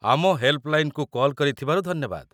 ଆମ ହେଲ୍‌ପ୍‌ଲାଇନ୍‌କୁ କଲ୍ କରିଥିବାରୁ ଧନ୍ୟବାଦ ।